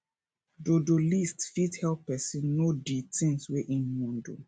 dodo list fit help person no di things wey im wan do